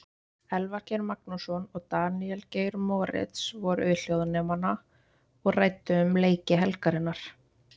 Elvar Geir Magnússon og Daníel Geir Moritz voru við hljóðnemana og ræddu um leiki helgarinnar.